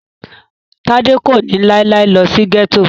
Tádé kò ní láíláí lọ sí gẹ́tò